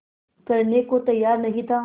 करने को तैयार नहीं था